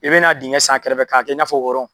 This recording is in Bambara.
I bɛn'a dingɛ sen a kɛrɛfɛ k'a kɛ i n'a fɔ